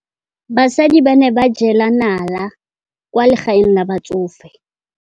Basadi ba ne ba jela nala kwaa legaeng la batsofe.